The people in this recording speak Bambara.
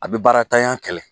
A bɛ baaratanya kɛlɛ.